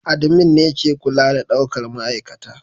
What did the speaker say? admin ne ke kula da daukar ma'aikata